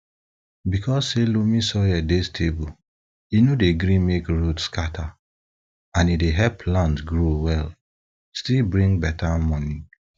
because say loamy soil dey stable e no dey gree make root scatter and e dey help plant grow well still bring beta moni